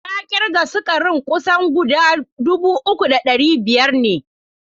Na kirga sukarin kusan guda 3500 ne.